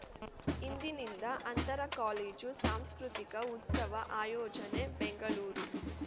ಇಂದಿನಿಂದ ಅಂತರ ಕಾಲೇಜು ಸಾಂಸ್ಕೃತಿಕ ಉತ್ಸವ ಆಯೋಜನೆ ಬೆಂಗಳೂರು